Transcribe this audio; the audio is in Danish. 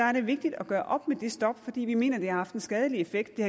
er det vigtigt at gøre op med det stop fordi vi mener det har haft en skadelig effekt det